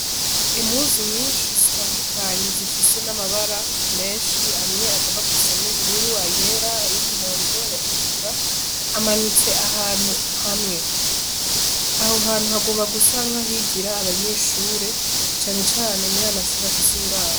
Emuzu nyinshi zitandukanyi zifise n'amabara menshi hamwe agomba gusa n'ubururu ayera y'umwondo yatukura amanitse ahantu hamwe aho hantu hagomba gusanka higira abanyeshure canecane muri amashure afise uburara.